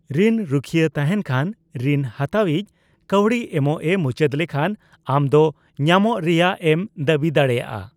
ᱨᱤᱱ ᱨᱩᱠᱷᱭᱟᱹ ᱛᱟᱦᱮᱸᱱ ᱠᱷᱟᱱ, ᱨᱤᱱ ᱦᱟᱛᱟᱣᱤᱡ ᱠᱟᱹᱣᱰᱤ ᱮᱢᱚᱜᱼᱮ ᱢᱩᱪᱟᱹᱫ ᱞᱮᱠᱷᱟᱱ ᱟᱢᱫᱚ ᱧᱟᱢᱚᱜ ᱨᱮᱭᱟᱜᱼᱮᱢ ᱫᱟᱹᱵᱤ ᱫᱟᱲᱮᱭᱟᱜᱼᱟ ᱾